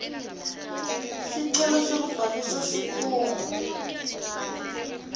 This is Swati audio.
sicelo sekubhalisa sikhungo